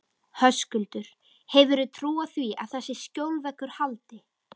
Höskuldur: Hefurðu trú á því að þessi skjólveggur haldi?